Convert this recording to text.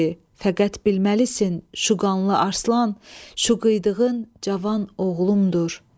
Fəqət bilməlisən, şu qanlı Aslan, şu qıydığın cavan oğlumdur.